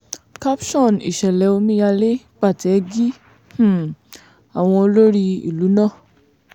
caption ìṣẹ̀lẹ̀ omíyalé pàtẹ́gí um àwọn olórí ìlú náà